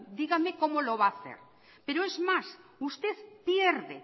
dígame cómo lo va a hacer pero es más usted pierde